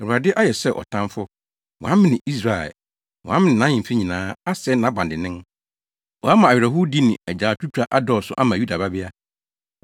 Awurade ayɛ sɛ ɔtamfo; wamene Israel. Wamene nʼahemfi nyinaa asɛe nʼabandennen. Wama awerɛhowdi ne agyaadwotwa adɔɔso ama Yuda Babea.